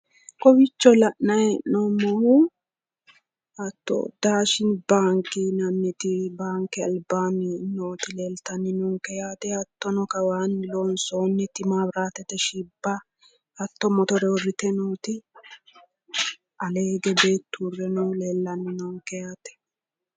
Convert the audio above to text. Kowiicho la'nayi hee'noommohu hatto daashini baanke yinanniti baanke albaanni noota leelttannonke yaate hatto kawaanni loonsoonniti maabiraatete shibba hatto motore uurritinoti alee hige beettu uurre noohu leellanni noonke yaate.